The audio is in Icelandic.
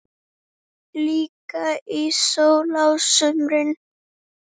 Líka í sól á sumrin.